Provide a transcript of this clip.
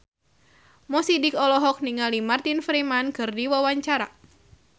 Mo Sidik olohok ningali Martin Freeman keur diwawancara